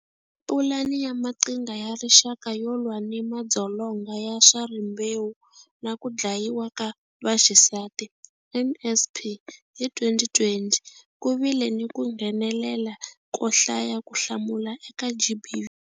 Pulani ya Maqhingha ya Rixaka yo lwa ni madzolonga ya swa rimbewu na ku dlayiwa ka vaxisati, NSP, hi 2020, ku vile ni ku nghenelela ko hlaya ku hlamula eka GBV.